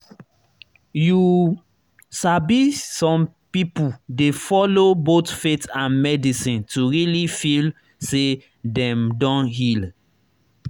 you sabi some people dey follow both faith and medicine to really feel say dem don heal.